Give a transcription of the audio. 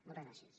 moltes gràcies